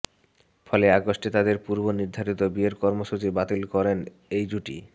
ফলে অগাস্টে তাঁদের পূর্ব নির্ধারিত বিয়ের কর্মসূচি বাতিল করেন এই জুটি